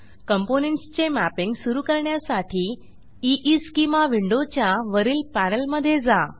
components चे mapping सुरू करण्यासाठी ईस्केमा विंडोच्या वरील पॅनेलमधे जा